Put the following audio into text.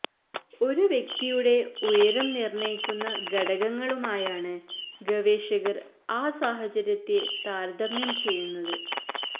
ഒരു വ്യക്തിയുടെ ഉയരം നിർണ്ണയിക്കുന്ന ഘടകങ്ങളുമായാണ് ഗവേഷകർ ആ സാഹചര്യത്തെ താരതമ്യം ചെയ്യുന്നത്